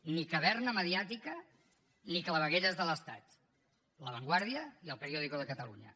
ni caverna mediàtica ni clavegueres de l’estat la vanguardia i catalunya